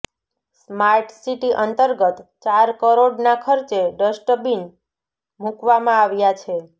smart city અંતર્ગત ચાર કરોડના ખર્ચે ડસ્ટબીન મુકવામાં આવ્યા છે